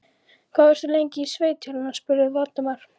Hvað varstu lengi í sveit hérna? spurði Valdimar.